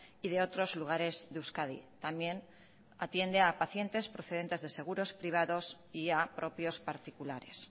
y de otros lugares de euskadi también atiende a pacientes procedentes de seguros privados y a propios particulares